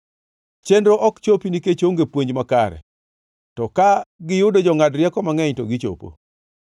Chenro ok chopi nikech onge puonj makare, to ka giyudo jongʼad rieko mangʼeny to gichopo.